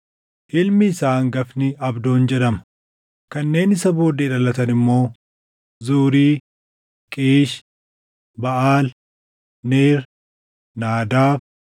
Ilmi isaa hangafni Abdoon jedhama; kanneen isa booddee dhalatan immoo Zuuri, Qiish, Baʼaal, Neer, Naadaab,